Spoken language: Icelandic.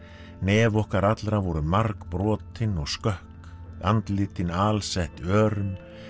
nef okkar allra voru margbrotin og skökk andlitin alsett örum